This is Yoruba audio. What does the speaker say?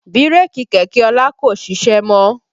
Bírèkì kẹ̀kẹ́ ọlá kò ṣiṣẹ́ mọ́